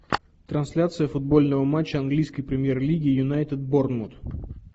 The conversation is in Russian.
трансляция футбольного матча английской премьер лиги юнайтед борнмут